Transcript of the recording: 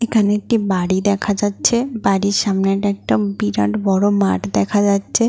এখানে একটি বাড়ি দেখা যাচ্ছে বাড়ির সামনে একটা বিরাট বড় মাঠ দেখা যাচ্ছে।